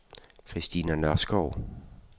Kristina Nørskov